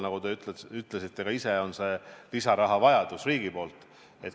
Nagu te ütlesite ka ise, on see lisarahavajadus riigi poolt.